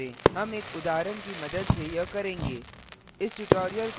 हम एक उदाहरण की मदद से यह करेंगे